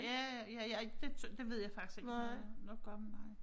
Ja ja ej det ved jeg faktisk ikke om det har noget at gøre med nej